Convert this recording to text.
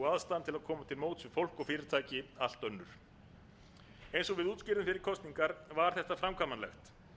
að koma til móts við fólk og fyrirtæki allt önnur eins og við útskýrðum fyrir kosningar var þetta framkvæmanlegt